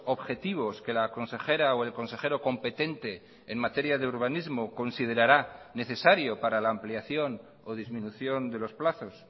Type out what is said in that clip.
objetivos que la consejera o el consejero competente en materia de urbanismo considerará necesario para la ampliación o disminución de los plazos